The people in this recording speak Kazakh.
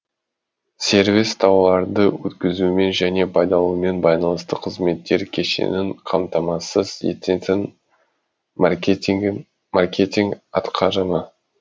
сервис тауарларды өткізумен және пайдаланумен байланысты қызметтер кешенін қамтамасыз ететін маркетинг атқарымы